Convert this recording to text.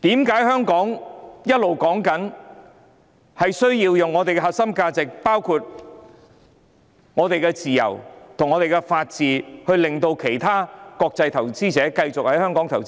為何我們一直說，要維護香港的核心價值，包括自由和法治，令國際投資者繼續在香港投資？